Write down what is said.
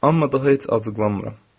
Amma daha heç acıqlanmıram.